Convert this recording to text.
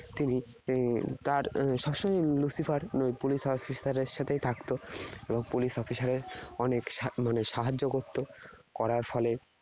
তিনি হম তার উহ সবসময়ই Luciferpolice officer এর সাথেই থাকতো। police officer এর অনেক মানে সাহায্য করত। করার ফলে